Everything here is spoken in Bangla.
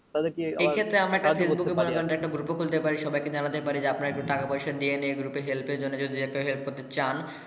তাদের কে এ ক্ষেত্রে আমার গল্প করতে পারি আপনারা একটু টাকা পয়সা দিয়ে যারা help করতে চান।